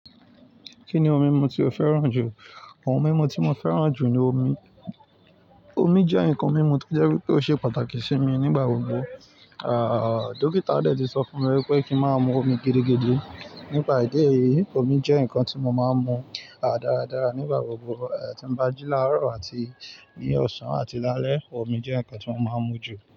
Ki ni òun mímú ti o fẹ́ràn jù? Àwọn ohun mímu tí mo fẹ́ràn jù ni omi. Omi jẹ́ nǹkan mímu tí jẹ́ wípé ó ṣe pàtàkì sí mi nígbà gbogbo. Àà, dókítà tẹ́lẹ̀ ti sọ fún mi wípé kí n máa mu omi gidigidi. Nípa ìdí èyí, omi jẹ́ ǹkan tí mo máa ń mu, à, dáradára nígbà gbogbo. Ìgbà tí n bá jí láàárọ̀ àti ní ọ̀sán àti ní alẹ́, omi jẹ́ nǹkan tí mo máa ń mú jù.